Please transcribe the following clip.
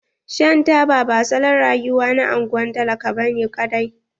Shan taba ba salon rayuwa na anguwan talaka bane ƙadai.